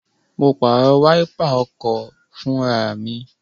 Mo pàrọ̀ wáípà ọkọ̀ fún ara mi